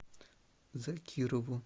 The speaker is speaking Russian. закирову